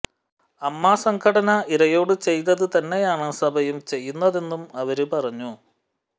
അമ്മ സംഘടന ഇരയോട് ചെയ്തത് തന്നെയാണ് സഭയും ചെയ്യുന്നതെന്നും അവര് പറഞ്ഞു